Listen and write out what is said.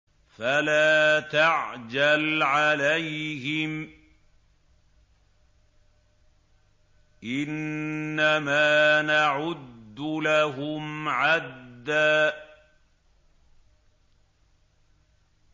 فَلَا تَعْجَلْ عَلَيْهِمْ ۖ إِنَّمَا نَعُدُّ لَهُمْ عَدًّا